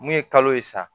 Mun ye kalo ye sa